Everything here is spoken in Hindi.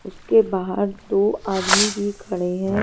उसके बाहर दो आदमी भी खड़े हैं।